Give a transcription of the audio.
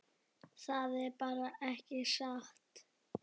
Það er bara ekki satt.